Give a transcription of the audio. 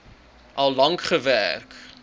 al lank gewerk